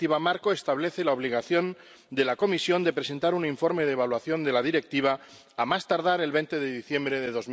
La Directiva marco establece la obligación para la Comisión de presentar un informe de evaluación de la Directiva a más tardar el 20 de diciembre de